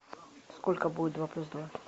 сколько будет два плюс два